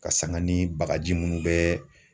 Ka sanga ni bagaji munnu bɛɛ.